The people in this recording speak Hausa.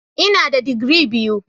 Ina da digiri biyu.